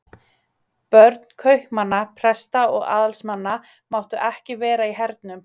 Börn kaupmanna, presta og aðalsmanna máttu ekki vera í hernum.